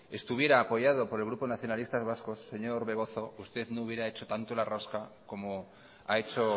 estuviera apoyado por el grupo nacionalistas vascos señor orbegozo usted no hubiera hecho tanto la rosca como ha hecho